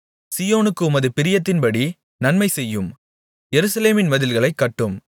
சீயோனுக்கு உமது பிரியத்தின்படி நன்மை செய்யும் எருசலேமின் மதில்களைக் கட்டும்